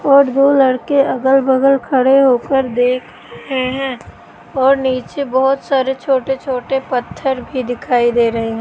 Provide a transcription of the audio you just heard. और दो लड़के अगल बगल खड़े होकर देख रहे हैं और नीचे बहोत सारे छोटे - छोटे पत्थर भी दिखाई दे रहे --